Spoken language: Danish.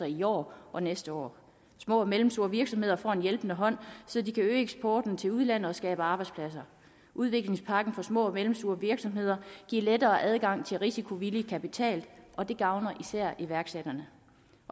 i år og næste år små og mellemstore virksomheder får en hjælpende hånd så de kan øge eksporten til udlandet og skabe arbejdspladser udviklingspakken for små og mellemstore virksomheder giver lettere adgang til risikovillig kapital og det gavner især iværksætterne